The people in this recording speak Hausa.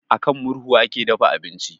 A kan murhu ake dafa abinci